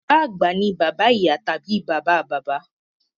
Bàbá àgbà ni bàbá ìyá tàbí bàbá bàbá.